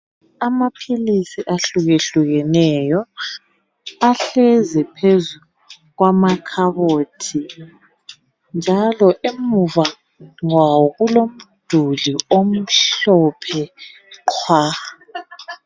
Amaphilisi ahlukahlukeneyo ahlezi phezu kwamakhabothi njalo emuva kwawo kulomduli omhlophe qhwa